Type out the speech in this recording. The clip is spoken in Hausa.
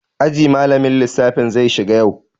Aji malamin lissafi zai shiga yau.